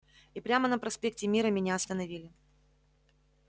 и прямо на проспекте мира меня остановили